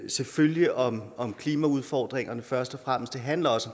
selvfølgelig om om klimaudfordringerne først og fremmest det handler også